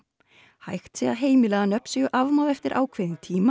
hægt sé að heimila að nöfn séu afmáð eftir ákveðinn tíma